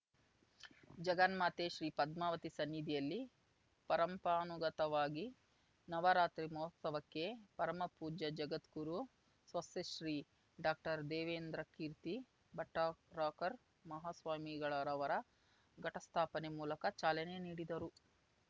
ಜಗನ್ಮಾತೆ ಶ್ರೀ ಪದ್ಮಾವತಿ ಸನ್ನಿಧಿಯಲ್ಲಿ ಪರಂಪರಾನುಗತವಾಗಿ ನವರಾತ್ರಿ ಮಹೋತ್ಸವಕ್ಕೆ ಪರಮಪೂಜ್ಯ ಜಗದ್ಗುರು ಸ್ವಸ್ತಿಶ್ರೀ ಡಾಕ್ಟರ್ದೇವೇಂದ್ರಕೀರ್ತಿ ಭಟ್ಟಾರಕ ಮಹಾಸ್ವಾಮಿಗಳವರು ಘಟಸ್ಥಾಪನೆ ಮೂಲಕ ಚಾಲನೆ ನೀಡಿದರು